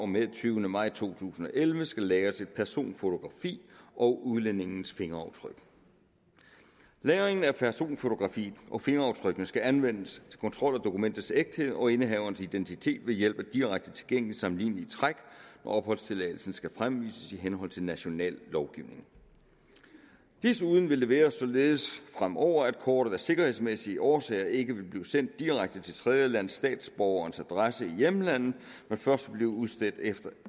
med den tyvende maj to tusind og elleve skal lagres et personfotografi og udlændingens fingeraftryk lagringen af personfotografiet og fingeraftrykket skal anvendes til kontrol af dokumentets ægthed og indehaverens identitet ved hjælp af direkte tilgængelige sammenlignelige træk og opholdstilladelsen skal fremvises i henhold til national lovgivning desuden vil det være således fremover at kortet af sikkerhedsmæssige årsager ikke vil blive sendt direkte til tredjelandsstatsborgerens adresse i hjemlandet men først vil blive udstedt efter